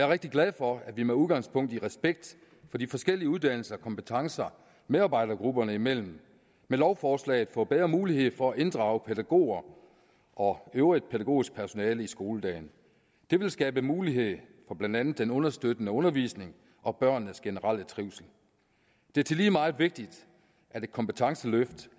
rigtig glad for at vi med udgangspunkt i respekt for de forskellige uddannelser og kompetencer medarbejdergrupperne imellem med lovforslaget får bedre mulighed for at inddrage pædagoger og øvrigt pædagogisk personale i skoledagen det vil skabe mulighed for blandt andet den understøttende undervisning og børnenes generelle trivsel det er tillige meget vigtigt at et kompetenceløft